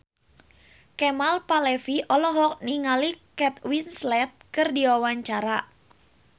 Kemal Palevi olohok ningali Kate Winslet keur diwawancara